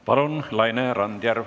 Palun, Laine Randjärv!